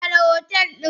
Share hotel din!